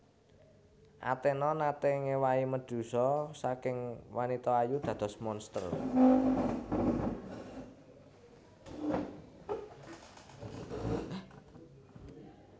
Athena naté ngéwahi Medusa saking wanita ayu dados monster